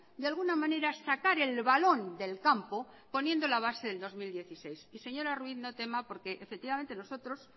de alguna manera sacar el balón del campo poniendo la base del dos mil dieciséis y señora ruiz no tema porque efectivamente nosotros